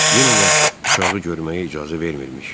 Yenə də uşağı görməyə icazə vermirmiş.